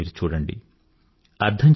భారతదేశాన్ని మీరు చూడండి